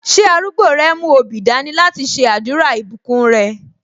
Ṣé arúgbó rẹ mú obì dání láti ṣe àdúrà ìbùkún rẹ?